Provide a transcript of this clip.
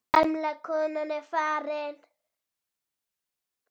Gamla konan er farin.